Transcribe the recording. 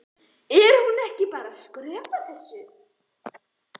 Er hún ekki bara að skrökva þessu?